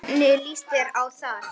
Hvernig líst þér á það?